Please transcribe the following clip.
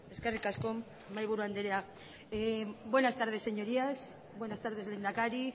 eskerrik asko mahaiburu andrea buenas tardes señorías buenas tardes lehendakari